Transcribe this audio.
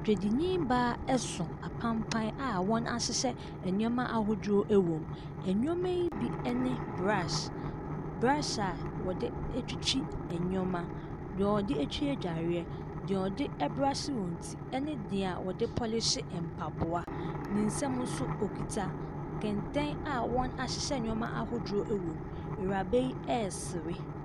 Dwadini baa so apampaa a wɔahyehyɛ nneɛma ahodoɔ wɔ mu. Nneɛmayi bi ne brush. B brush a wɔde twitwi nneɛma, deɛ wɔde twi adwareɛ, deɛ wɔde brushe wɔn ti ne deɛ wɔde polishe mpaboa. Ne nsam nso, ɔkita kɛntɛn a wɔahyehyɛ nneɛma ahodoɔ wɔ mu. Awuraba yi resere.